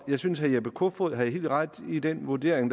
jeg synes herre jeppe kofod havde helt ret i den vurdering